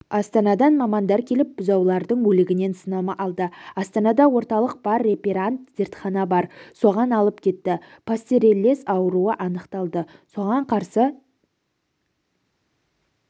астанадан мамандар келіп бұзаулардың өлігінен сынама алды астанада орталық бар реперант зертхана бар соған алып кетті пастереллез ауруы анықталды соған қарсы